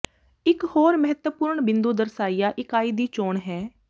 ਇੱਕ ਹੋਰ ਮਹੱਤਵਪੂਰਨ ਬਿੰਦੂ ਦਰਸਾਇਆ ਇਕਾਈ ਦੀ ਚੋਣ ਹੈ